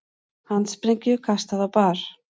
Handsprengju kastað á bar